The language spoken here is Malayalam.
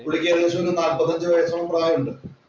പുള്ളിക്ക് ഏകദേശം ഒരു നാപ്പത്തിയഞ്ചു വയസ്സോളം പ്രായം ഉണ്ട്.